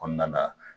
Kɔnɔna na